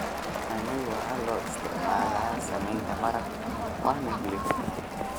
Yaanyada waxaa loo isticmaalaa sameynta maraq waana hilib.